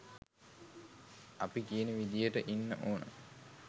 අපි කියන විදියට ඉන්න ඕන.